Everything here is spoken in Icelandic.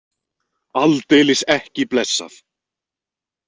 Aldeilis ekki blessað!